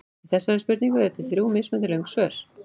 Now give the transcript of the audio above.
Við þessari spurningu eru til þrjú mismunandi löng svör.